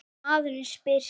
Maður spyr sig.